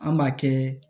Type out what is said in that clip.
An b'a kɛ